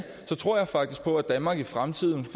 tror faktisk på at danmark i fremtiden